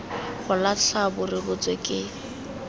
go latlha bo rebotswe ke